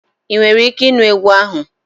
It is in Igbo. Ị nwere ike ịnụ egwu ahụ?